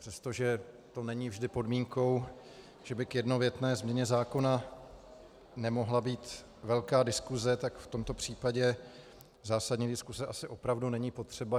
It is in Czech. Přestože to není vždy podmínkou, že by k jednovětné změně zákona nemohla být velká diskuse, tak v tomto případě zásadní diskuse asi opravdu není potřeba.